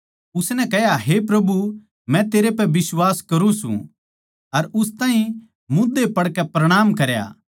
उसनै कह्या हे प्रभु मै तेरे पै बिश्वास करूँ सूं अर उस ताहीं मोध्धा पड़कै प्रणाम करया